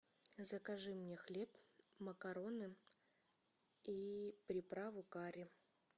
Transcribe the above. закажи мне хлеб макароны и приправу карри